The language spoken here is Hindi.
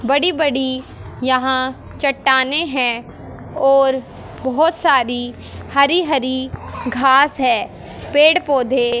बड़ी बड़ी यहां चट्टानें हैं और बहुत सारी हरी हरी घास है पेड़ पौधे --